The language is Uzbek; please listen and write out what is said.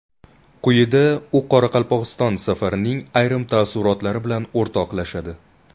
Quyida u Qoraqalpog‘iston safarining ayrim taassurotlari bilan o‘rtoqlashadi.